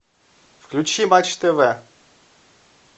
включи матч тв